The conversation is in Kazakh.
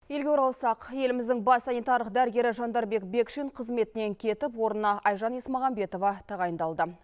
елге оралсақ еліміздің бас санитарлық дәрігері жандарбек бекшин қызметінен кетіп орнына айжан есмағамбетова тағайындалды